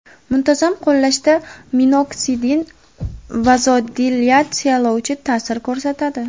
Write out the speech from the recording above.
Muntazam qo‘llashda minoksidin vazodilatatsiyalovchi ta’sir ko‘rsatadi.